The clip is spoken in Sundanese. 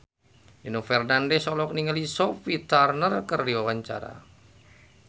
Nino Fernandez olohok ningali Sophie Turner keur diwawancara